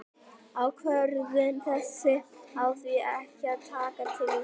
Ákvörðun þessi á því ekki að taka til Íslands.